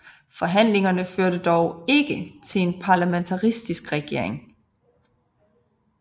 Forhandlingerne førte dog ikke til en parlamentarisk regering